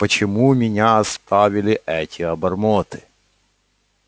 почему меня оставили эти обормоты